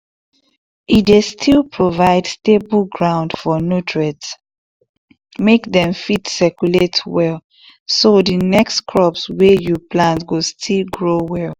e dey still provide stable ground for nutrients make dem fit circulate well so di next crops wey you plant go still grow well